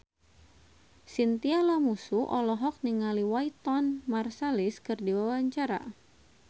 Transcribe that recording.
Chintya Lamusu olohok ningali Wynton Marsalis keur diwawancara